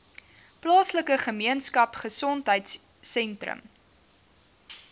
plaaslike gemeenskapgesondheid sentrum